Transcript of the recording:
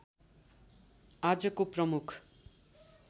आजको प्रमुख